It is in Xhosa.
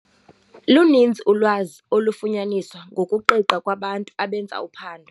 Luninzi ulwazi olufunyaniswa ngokuqiqa kwabantu abenza uphando.